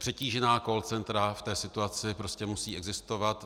Přetížená call centra v té situaci prostě musí existovat.